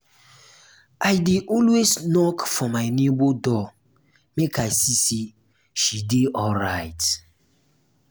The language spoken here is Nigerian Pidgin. i dey always knock for my nebor door make i see sey she dey alright.